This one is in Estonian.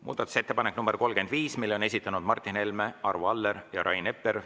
Muudatusettepaneku nr 35 on esitanud Martin Helme, Arvo Aller ja Rain Epler.